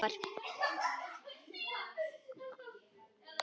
Þetta eru þjófar!